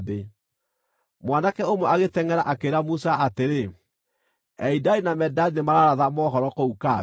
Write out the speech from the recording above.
Mwanake ũmwe agĩtengʼera akĩĩra Musa atĩrĩ, “Elidadi na Medadi nĩmararatha mohoro kũu kambĩ.”